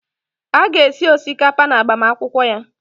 A ga-esi osikapa n'agbamakwụkwọ ya.